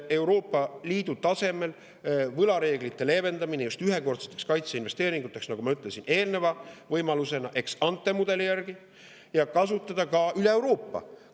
–, et Euroopa Liidu tasemel võlareegleid leevendataks just ühekordsete kaitseinvesteeringute tegemiseks, nagu ma ütlesin eelneva võimalusena, ex-ante-mudeli järgi, ja seda kasutataks üle Euroopa.